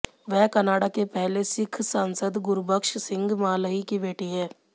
वह कनाडा के पहले सिख सांसद गुरबक्स सिंह माल्ही की बेटी हैं